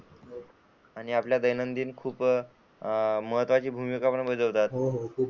आणि आपल्या दैनंदिन खूप महत्वाचे भूमिका बजावतात. हो हो खूप.